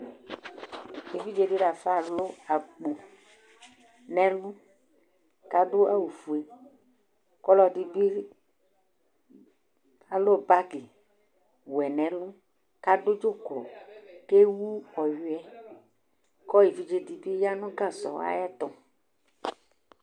Éʋidzé dilafa alʊ akpo nɛ ɛlʊ ka du awʊ fʊé Kɔ ɔlɔdibi alʊ bagɩ wʊɛ nɛ ɛlʊ Ka dʊ dzʊklɔ, ké wʊ ɔyʊɛ Kʊ évidzé dibi ya nʊ gasɔ aƴɛtʊ